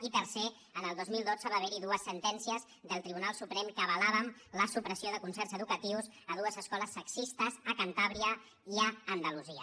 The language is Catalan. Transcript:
i tercer el dos mil dotze va haverhi dues sentències del tribunal suprem que avalaven la supressió de concerts educatius a dues escoles sexistes a cantàbria i a andalusia